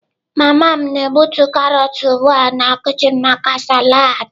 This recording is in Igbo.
Mama m na-egbutu karọt ugbu a na kichin maka salad.